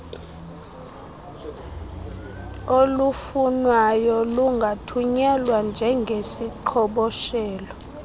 olufunwayo lungathunyelwa njengeziqhoboshelo